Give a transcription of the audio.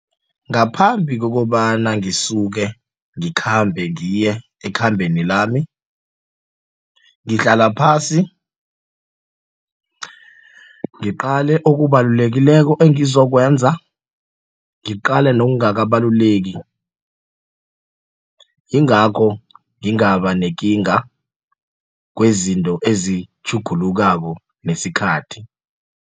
Ngaphambi kokobana ngisuke ngikhambe ngiye ekhambeni lami ngihlala phasi ngiqale okubalulekileko engizokwenza ngiqalene nokungaka balulekile yingakho ngingaba nekinga kwezinto ezitjhugulukako nesikhathi.